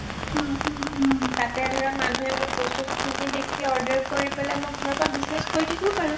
তাতে ধৰা মানুহে মোৰ বস্তু খিনি দেখি order কৰি পেলাই মই ঘৰৰ পৰা business কৰি থাকিব পাৰোঁ